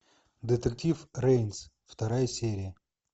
детектив рейнс вторая серия